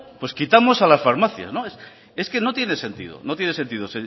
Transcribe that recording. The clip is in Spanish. pues quitamos a las farmacias es que no tiene sentido no tiene sentido